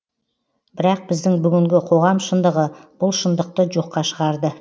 бірақ біздің бүгінгі қоғам шындығы бұл шындықты жоққа шығарды